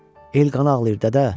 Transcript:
El qanı ağlayır, dədə.